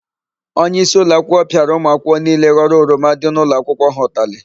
Onyeisi ụlọakwụkwọ pịara ụmụakwụkwọ niile ghọrọ oroma dị n'ụlọakwụkwọ ha ụtalị.